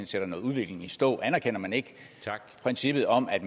sætter noget udvikling i stå anerkender man ikke princippet om at